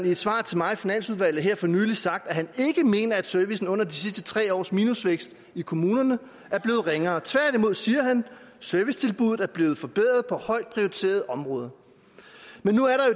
i et svar til mig i finansudvalget her for nylig sagt at han ikke mener servicen under de sidste tre års minusvækst i kommunerne er blevet ringere tværtimod siger han servicetilbuddet er blevet forbedret på højt prioriterede områder men nu er der